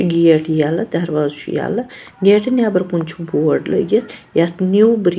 gate یَلہٕ درواز چُھ یَلہٕ گیٹہٕ نیٚبرکُن چُھ بورڈلٲگِتھ یتھ نیوٗ .بری